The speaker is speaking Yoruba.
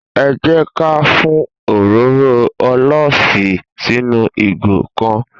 È jẹ kà fùn òróró ólífì sínú ìgò kàn